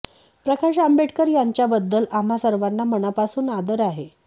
प्रकाश आंबेडकर यांच्या बद्धल आम्हा सर्वांना मनापासून आदर आहे